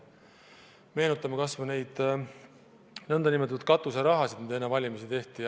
Meenutame kas või nn katuseraha, mida enne valimisi jagati.